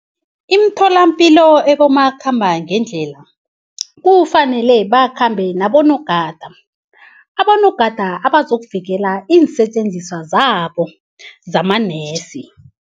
Imitholampilo ebomakhambangedlela kufanele bakhambe nabonogada, abonogada abazokuvikela iinsetjenziswa zabo zamanesi.